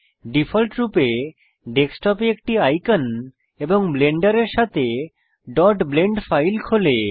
ডিফল্টরূপে ডেস্কটপে একটি আইকন এবং ব্লেন্ডারের সাথে blend ফাইল খোলে